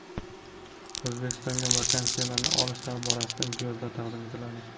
O‘zbekistonga vaksinalarni olish borasida imtiyozlar taqdim etiladi.